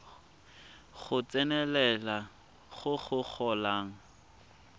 go tsenelela go go golang